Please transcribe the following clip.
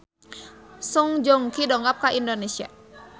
Song Joong Ki dongkap ka Indonesia